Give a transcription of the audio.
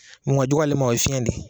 Mun ŋa jug'ale ma o ye fiɲɛ de